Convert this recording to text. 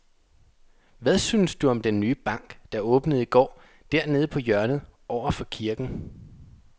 Hvad synes du om den nye bank, der åbnede i går dernede på hjørnet over for kirken?